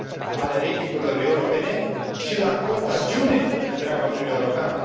ale ratingurilor europene și la contagiune în întreaga Uniune Europeană.